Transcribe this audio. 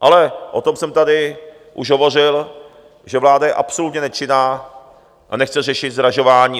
Ale o tom jsem tady už hovořil, že vláda je absolutně nečinná a nechce řešit zdražování.